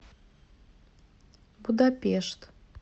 будапешт